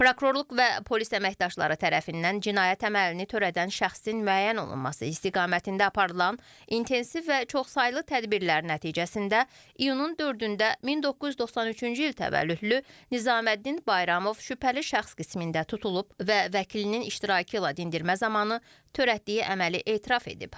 Prokurorluq və polis əməkdaşları tərəfindən cinayət əməlini törədən şəxsin müəyyən olunması istiqamətində aparılan intensiv və çoxsaylı tədbirlər nəticəsində iyunun 4-də 1993-cü il təvəllüdlü Nizaməddin Bayramov şübhəli şəxs qismində tutulub və vəkilinin iştirakı ilə dindirmə zamanı törətdiyi əməli etiraf edib.